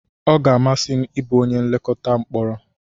Ọ ga-amasị m ịbụ onye nlekọta mkporo.